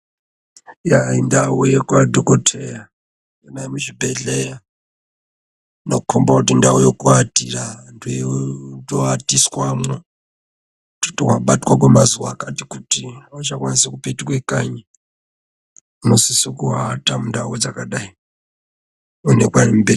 Ya.. indau yadhokodheya ndoona muchibhehleya ,inokomba kuti indau yekuatira ndekutoatiswamo kuti wabatwa kwemazuwa akati kuti auchakwanisi kupetuke kanyi unosise kuata mundau dzakadai .....